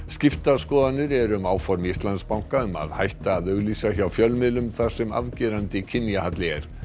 skiptar skoðanir eru um áform Íslandsbanka um að hætta að auglýsa hjá fjölmiðlum þar sem er afgerandi kynjahalli